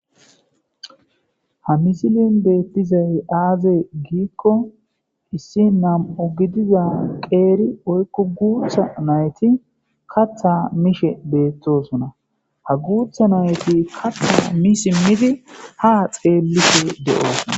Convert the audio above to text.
ha misilin beettizay aaze giikko issi nam7u gidiza qeeri oykku guutha nayti katha mishe beettosona ha guutha nayti katha mi simmidi ha xeellisi de7oosna